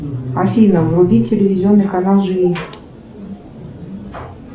афина вруби телевизионный канал живи